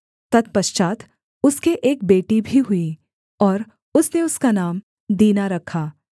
तत्पश्चात् उसके एक बेटी भी हुई और उसने उसका नाम दीना रखा